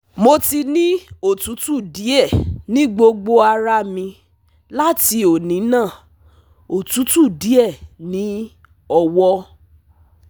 Mo ti ni otutu die ni gbogbo ara mi lati oni na (otutu die ni owo)